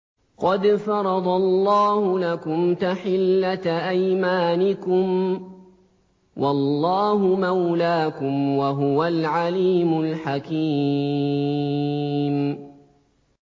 قَدْ فَرَضَ اللَّهُ لَكُمْ تَحِلَّةَ أَيْمَانِكُمْ ۚ وَاللَّهُ مَوْلَاكُمْ ۖ وَهُوَ الْعَلِيمُ الْحَكِيمُ